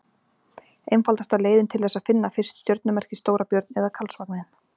Einfaldasta leiðin til þess er að finna fyrst stjörnumerkið Stóra-björn eða Karlsvagninn.